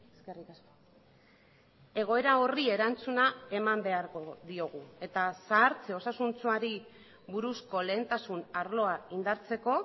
eskerrik asko egoera horri erantzuna eman beharko diogu eta zahartze osasuntsuari buruzko lehentasun arloa indartzeko